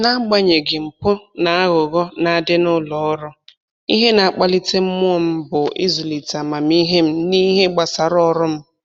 N'agbanyeghị mpụ na aghụghọ na-adị n'ụlọ ọrụ, ihe na-akpalite mmụọ m bụ ịzụlite amamihe m n'ihe gbasara ọrụ m